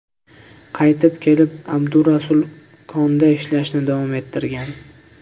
Qaytib kelib, Abdurasul konda ishlashni davom ettirgan.